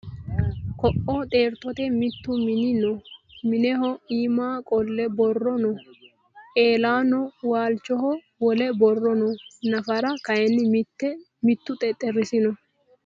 Ko'o xeertote mittu mini noo? Mineho iima qolle borro noo. Eelano waalichoho wole borro no. Nafara kayii mittu xexxerisi no.